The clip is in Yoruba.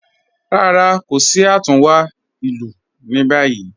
Rárá, kò sí àtúnwá ilù ní báyì